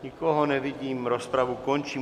Nikoho nevidím, rozpravu končím.